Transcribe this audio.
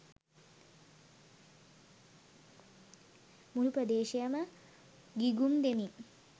මුලු ප්‍රදේශයම ගිගුම් දෙමින්